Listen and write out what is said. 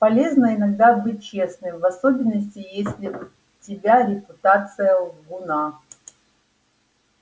полезно иногда быть честным в особенности если у тебя репутация лгуна